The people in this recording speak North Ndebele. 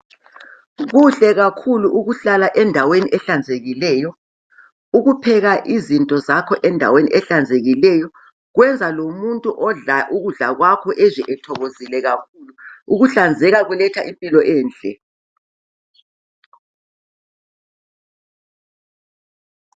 Kuhle kakhulu ukuhlala endaweni ehlanzekileyo. Ukupheka izinto zakho endaweni ehlanzekileyo Kwenza lomuntu odla ukudla kwakho ezwe ethokozile kakhulu. Ukuhlanzeka kuletha impilo enhle.